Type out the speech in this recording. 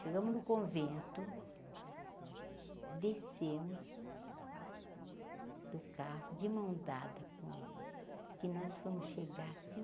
Chegamos no convento, descemos do carro de mão dada com ele, que nós fomos chegar assim.